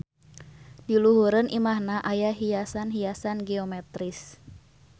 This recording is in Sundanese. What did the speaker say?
Di luhureun imahna aya hiasan-hiasan geometris.